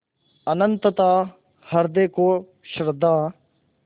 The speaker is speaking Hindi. अनंतता हृदय को श्रद्धा